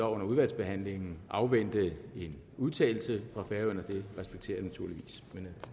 under udvalgsbehandlingen afvente en udtalelse fra færøerne og det respekterer jeg naturligvis men